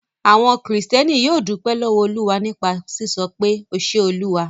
Àwọn Kìrìtẹ́ẹ́nì yóò dúpẹ́ lọ́wọ́ Olúwa nípa sísọ pé 'O ṣe Olúwa'.